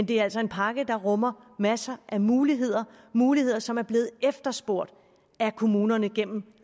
det er altså en pakke der rummer masser af muligheder muligheder som er blevet efterspurgt af kommunerne gennem